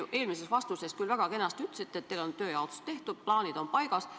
Te eelmises vastuses küll väga kenasti ütlesite, et teil on tööjaotus tehtud, plaanid on paigas.